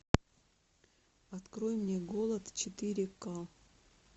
открой мне голод четыре ка